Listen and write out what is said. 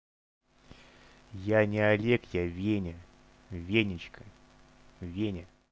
я не олег я веня веничка веня